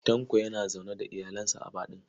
Tanko yana zaune da iyalinsa a Badun